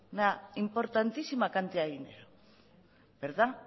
una importantísima cantidad de dinero